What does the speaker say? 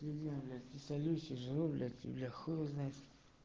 дающих жулик для хуй знает